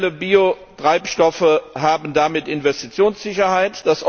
Konventionelle Biotreibstoffe haben damit Investitionssicherheit.